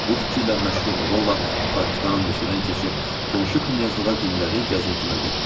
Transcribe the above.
Bu fikirlə məşğul ola-ola parkdan, meşədən keçib qonşu knyazlığa gündəlik gəzintimə getdim.